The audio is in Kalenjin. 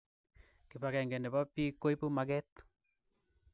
Kibakeng nebo bik koibu maket